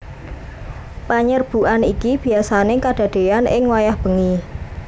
Panyerbukan iki biyasané kadadéyan ing wayah bengi